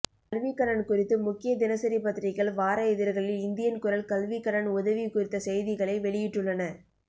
கல்விக்கடன் குறித்து முக்கிய தினசரி பத்திரிகைகள் வார இதழ்களில் இந்தியன் குரல் கல்விக்கடன் உதவி குறித்த செய்திகளை வெளியிட்டுள்ளன